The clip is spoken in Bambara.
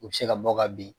U bɛ se ka bɔ ka bin